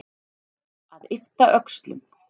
Að yppta öxlum